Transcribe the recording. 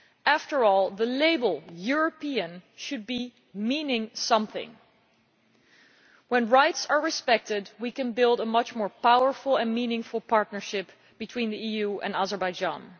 After all, the label European' should mean something. When rights are respected, we can build a much more powerful and meaningful partnership between the EU and Azerbaijan.